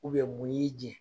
mun y'i jɛ ?